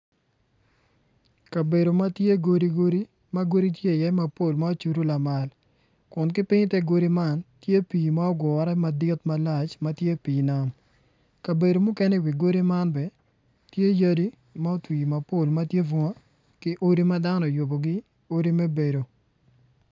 Kabedo ma tye godigodi ma godi tye iye lamal kun ki piny i te godi man tye pii malac kabedo mukene tye yadi ma otwii mapol ma tye bunga ki odi ma dano oyubogi me bedo.